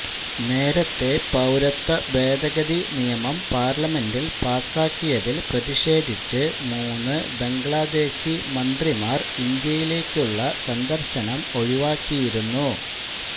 നേരത്തെ പൌരത്വ ഭേദഗതി നിയമം പാർലമെന്റിൽ പാസാക്കിയതിൽ പ്രതിഷേധിച്ച് മൂന്ന് ബംഗ്ലാദേശി മന്ത്രിമാർ ഇന്ത്യയിലേക്കുള്ള സന്ദർശനം ഒഴിവാക്കിയിരുന്നു